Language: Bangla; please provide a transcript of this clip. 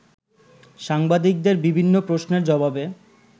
সাংবাদিকদের বিভিন্ন প্রশ্নের জবাবে